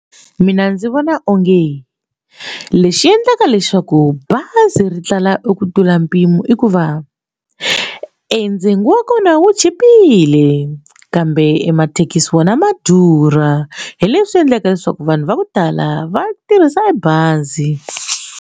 Mina ndzi vona onge lexi endlaka leswaku bazi ri tlula eku tlula mpimo i ku va endzeni wa kona wu chipile kambe mathekisi wona ma durha hi leswi endlaka leswaku vanhu va ku tala va tirhisa bazi.